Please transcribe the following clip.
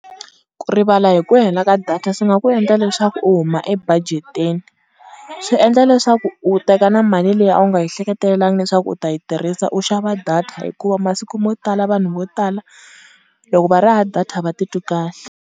Ku rivala hi ku hela ka data swi nga ku endla leswaku u huma ebajeteni. Swi endla leswaku u teka na mali leyi a wu nga yi hleketelelangi leswaku u ta yi tirhisa u xava data hikuva masiku mo tala vanhu vo tala loko va ri hava data a va titwi kahle.